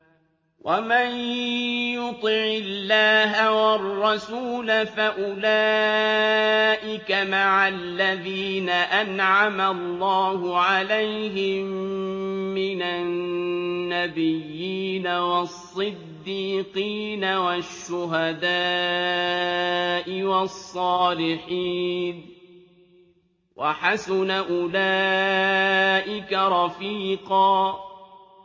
وَمَن يُطِعِ اللَّهَ وَالرَّسُولَ فَأُولَٰئِكَ مَعَ الَّذِينَ أَنْعَمَ اللَّهُ عَلَيْهِم مِّنَ النَّبِيِّينَ وَالصِّدِّيقِينَ وَالشُّهَدَاءِ وَالصَّالِحِينَ ۚ وَحَسُنَ أُولَٰئِكَ رَفِيقًا